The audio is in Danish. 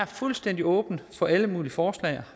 fuldstændig åben for alle mulige forslag